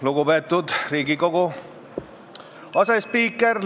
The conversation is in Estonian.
Lugupeetud Riigikogu asespiiker!